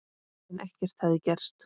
En ekkert hafði gerst.